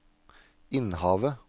Innhavet